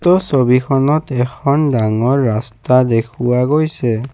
উক্ত ছবিখনত এখন ডাঙৰ ৰাস্তা দেখুওৱা হৈছে।